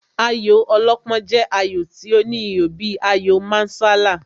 Ayò alọ́pọ́n jẹ́ ayò tí ó ní ihò bíi ayò Mancala.